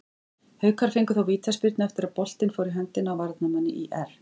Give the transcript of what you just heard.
Haukar fengu þó vítaspyrnu eftir að boltinn fór í höndina á varnarmanni ÍR.